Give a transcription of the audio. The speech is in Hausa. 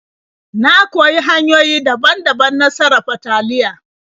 Na koyi hanyoyi daban-daban na sarafa taliya.